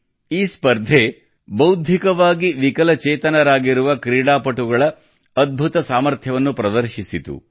ಈ ಸ್ಪರ್ಧೆಯು ನಮ್ಮ ಬೌದ್ಧಿಕವಾಗಿ ವಿಕಲಚೇತನರಾಗಿರುವ ಕ್ರೀಡಾಪಟುಗಳ ಅದ್ಭುತ ಸಾಮರ್ಥ್ಯವನ್ನು ಪ್ರದರ್ಶಿಸಿತು